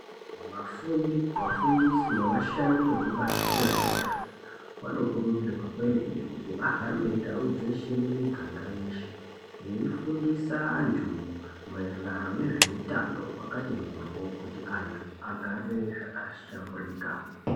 Vafundi, vafundisi nevashandi vekubazi rezve utano vano kurudzirwa kwemene kuti vahambe ndau dzeshe mumiganga yeshe veii fundisa antu maererano nezve utano hwakati mhorwo, kuti antu agare zvaka shamburika.